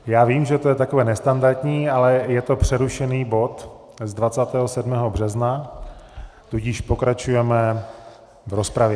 Já vím, že je to takové nestandardní, ale je to přerušený bod z 27. března, tudíž pokračujeme v rozpravě.